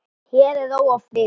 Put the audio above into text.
Hér er ró og friður.